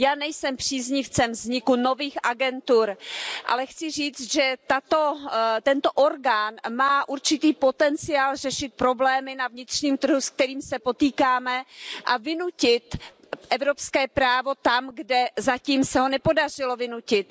Já nejsem příznivcem vzniku nových agentur, ale chci říct, že tento orgán má určitý potenciál řešit problémy na vnitřním trhu, se kterými se potýkáme, a vynutit evropské právo tam, kde se ho zatím nepodařilo vynutit.